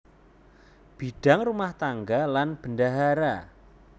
Bidang rumah tangga lan bendahara